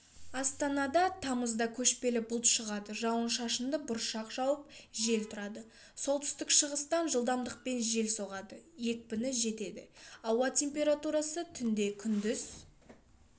астанада тамызда көшпелі бұлт шығады жауын-шашынды бұршақ жауып жел тұрады солтүстік-шығыстан жылдамдықпен жел соғады екіпіні жетеді ауа температурасы түнде күндіз